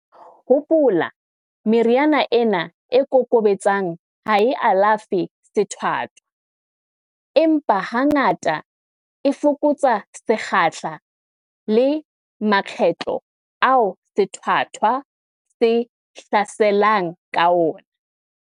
Hopola, meriana ena e kokobetsang ha e alafe sethwathwa, empa hangata, e fokotsa sekgahla le makgetlo ao sethwathwa se hlaselang ka ona.